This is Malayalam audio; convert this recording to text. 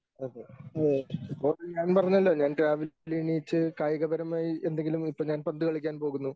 അതെ ഓക്കേ ഞാൻ പറഞ്ഞല്ലോ ഞാൻ രാവിലെ എണീറ്റ് കായികപരമായി എന്തെങ്കിലും ഇപ്പോൾ ഞാൻ പന്തു കളിക്കാൻ പോകുന്നു.